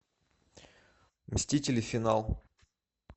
мстители финал